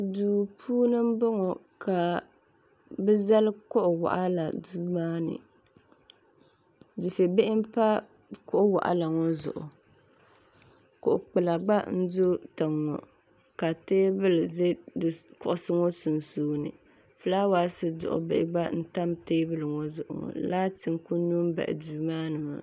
Duu puuni m-bɔŋɔ ka bɛ zali kuɣ' waɣila duu maa puuni dufɛbihi m-pa kuɣ' waɣila ŋɔ zuɣu kuɣ' kpula gba n-do tiŋa ŋɔ ka teebuli za kuɣusi ŋɔ sunsuuni filaawasi duɣibihi gba n-tam teebuli ŋɔ zuɣu laati n-kuli nyo m-bahi duu maa ni ŋɔ